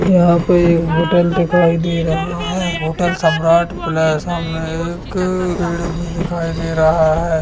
यहां पर एक होटल दिखाई दे रहा है होटल सम्राट पैलेस है सामने एक पेड़ भी दिखाई दे रहा है।